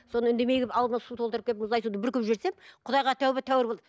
сонан үндемей келіп аузыма су толтырып келіп мұздай суды бүркіп жіберсем құдайға тәуба тәуір болады